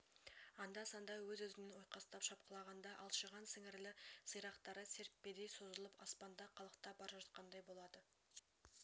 анда-санда өз-өзінен ойқастап шапқылағанда алшиған сіңірілі сирақтары серппедей созылып аспанда қалықтап бара жатқандай болады